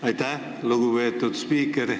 Aitäh, lugupeetud spiiker!